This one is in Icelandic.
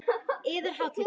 Yðar Hátign!